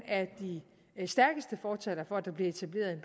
af de stærkeste fortalere for at der bliver etableret en